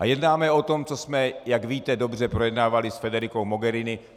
A jednáme o tom, co jsme, jak víte dobře, projednávali s Federicou Mogherini.